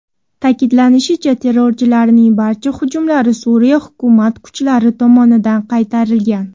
Ta’kidlanishicha, terrorchilarning barcha hujumlari Suriya hukumat kuchlari tomonidan qaytarilgan.